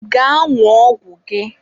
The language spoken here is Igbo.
Gaa ṅụọ ọgwụ gị!